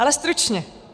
Ale stručně.